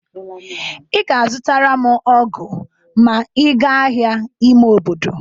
Ị ga-azụtaram ọgụ ma ị ga ahịa ime obodo.